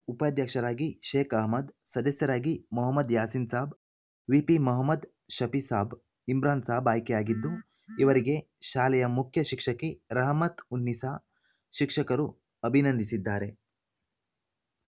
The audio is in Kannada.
ಉಪಾಧ್ಯಕ್ಷರಾಗಿ ಶೇಖ್‌ ಅಹ್ಮದ್‌ ಸದಸ್ಯರಾಗಿ ಮೊಹಮ್ಮದ್‌ ಯಾಸೀನ್‌ ಸಾಬ್‌ ವಿಪಿಮೊಹಮ್ಮದ್‌ ಶಫಿಸಾಬ್‌ ಇಮ್ರಾನ್‌ ಸಾಬ್‌ ಆಯ್ಕೆಯಾಗಿದ್ದು ಇವರಿಗೆ ಶಾಲೆಯ ಮುಖ್ಯ ಶಿಕ್ಷಕಿ ರಹಮತ್‌ ಉನ್ನಿಸಾ ಶಿಕ್ಷಕರು ಅಭಿನಂದಿಸಿದ್ದಾರೆ